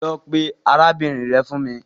Lọ pe arabinrin rẹ fun mi